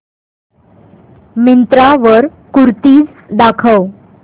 मिंत्रा वर कुर्तीझ दाखव